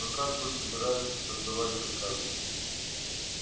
но как вы собираетесь отдавать приказы